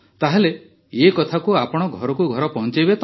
ତାହେଲେ ଏ କଥାକୁ ଆପଣ ଘରକୁ ଘର ପହଞ୍ଚାଇବେ ତ